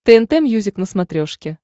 тнт мьюзик на смотрешке